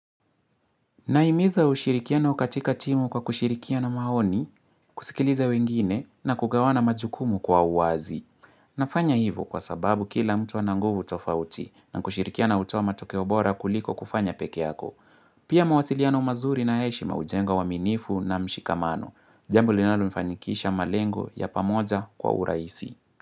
Naimiza ushirikiano katika timu kwa kushirikiana maoni, kusikiliza wengine na kugawana majukumu kwa uwazi. Nafanya hivo kwa sababu kila mtu ana nguvu tofauti na kushirikiana utoa matokeo bora kuliko kufanya peke yako. Pia mawasiliano mazuri na heshima hujenga uaminifu na mshikamano. Jambo linalo fanikisha malengo ya pamoja kwa uraisi.